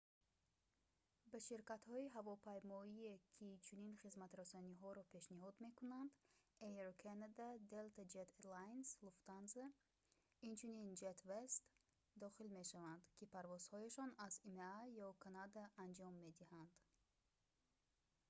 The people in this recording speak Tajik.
ба ширкатҳои ҳавопаймоие ки чунин хизматрасониҳоро пешниҳод мекунанд air canada delta air lines lufthansa инчунин westjet дохил мешаванд ки парвозҳояшонро аз има ё канада анҷом медиҳанд